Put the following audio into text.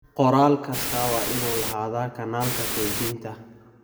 Qoraal kastaa waa inuu lahaadaa kanaalka kaydinta.